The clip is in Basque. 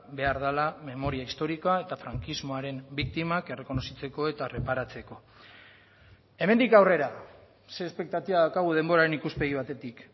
behar dela memoria historikoa eta frankismoaren biktimak errekonozitzeko eta erreparatzeko hemendik aurrera ze espektatiba daukagu denboraren ikuspegi batetik